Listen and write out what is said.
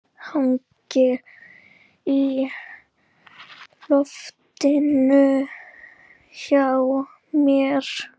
Hangir í loftinu hjá mér.